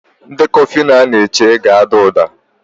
Ndekọ Fino a na-echere ga-ada uda.